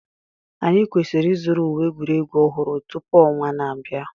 Anyị kwesịrị ịzụrụ uwe egwuregwu ọhụrụ tupu ọnwa na-abịa